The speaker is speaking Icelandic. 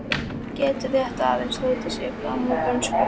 Getur rétt aðeins stautað sig fram úr dönsku.